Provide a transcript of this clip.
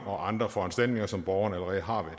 og andre foranstaltninger som borgerne allerede har